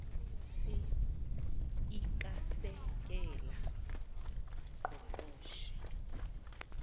si iikasekela ngqongqoshe